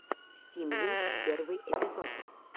стимлинкс первый эпизод